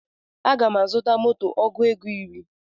Aga m azuta moto ọgụ ego iri